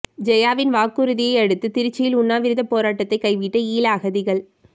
ஜெயாவின் வாக்குறுதியை அடுத்து திருச்சியில் உண்ணாவிரதப் போராட்டத்தை கைவிட்ட ஈழ அகதிகள்